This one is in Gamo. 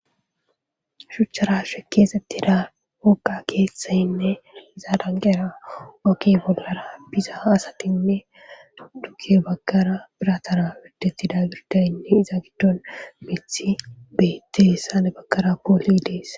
Shuchchara shekeesetti da okka keeththayinne zaadanqera oki bollara biza aasatinne duge bakara biratara widettida girdayinne iza giddon mithi bettessane bakara pooli dees